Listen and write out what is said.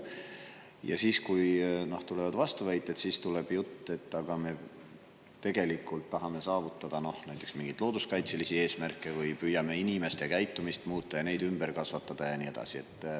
Ja siis, kui tulevad vastuväited, järgneb jutt, et me tegelikult tahame saavutada, noh, näiteks mingeid looduskaitselisi eesmärke või püüame inimeste käitumist muuta ja neid ümber kasvatada ja nii edasi.